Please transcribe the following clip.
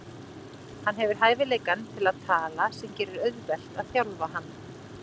Hann hefur hæfileikann til að tala sem gerir auðvelt að þjálfa hann.